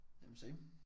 Jamen same